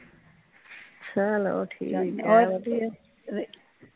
ਚਲੋ ਠੀਕ ਏ ਵਧੀਆ